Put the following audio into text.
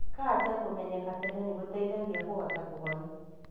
Kanja kũmenyeka tene nĩ gũteithagia kũhota kũhona.